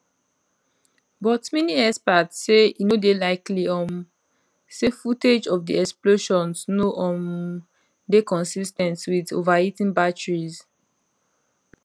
but many experts say e no dey likely um say footage of di explosions no um dey consis ten t with overheating batteries